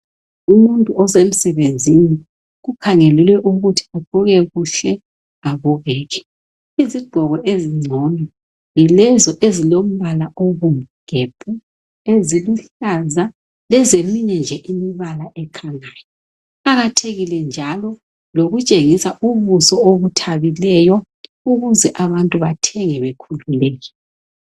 Umuntu osemsebenzini kukhangelelwe ukuthi agqoke kuhle abukeke. Izigqoko ezingcono yilezo ezilombala obomvu gebhu, eziluhlaza, lezeminye nje imibala ekhanyayo. Kuqakathekile njalo lokutshengisa ubuso obithabileyo ukuze abantu bathenge bekhululekile